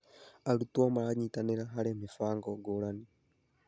Arutwo maranyitanĩra harĩ mĩbango ngũrani.